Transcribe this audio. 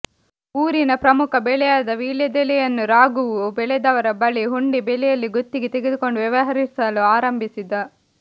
ಊರಿನ ಪ್ರಮುಖ ಬೆಳೆಯಾದ ವೀಳ್ಯದೆಲೆಯನ್ನು ರಾಘುವು ಬೆಳೆದವರ ಬಳಿ ಹುಂಡಿ ಬೆಲೆಯಲ್ಲಿ ಗುತ್ತಿಗೆ ತೆಗೆದುಕೊಂಡು ವ್ಯವಹರಿಸಲು ಆರಂಭಿಸಿದ